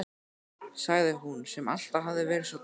sagði hún, sem alltaf hafði verið svo barngóð.